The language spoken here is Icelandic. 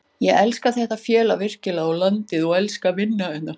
Ég elska þetta félag virkilega og landið og elska að vinna hérna.